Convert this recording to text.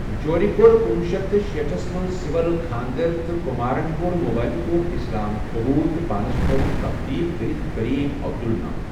جورِ كوٚر کُنوُہ شیٚتھ تہٕ شیٖٹھَس منز سِول خاندر تہٕ کُمارن كوٚر مُبینہٕ طور اسلام قبول تہٕ پانس تھووُن تبدیل كٔرِتھ کریم عبدل ناو۔